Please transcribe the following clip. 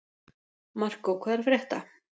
Markó, hvað er að frétta?